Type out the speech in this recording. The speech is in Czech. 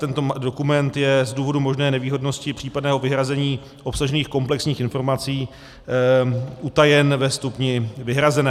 Tento dokument je z důvodů možné nevýhodnosti případného vyhrazení obsažených komplexních informací utajen ve stupni vyhrazené.